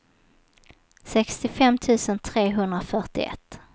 sextiofem tusen trehundrafyrtioett